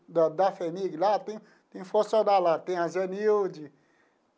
Da da FHEMIG lá, tem tem funcionário lá, tem a Zenilde.